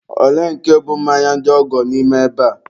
olee nke bụ mmanya ndị ọgọ n'ime ebe a?